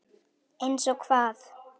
Eins og hvað?